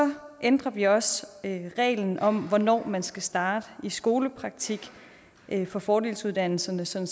ændrer vi også reglen om hvornår man skal starte i skolepraktik på fordelsuddannelserne sådan